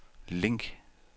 link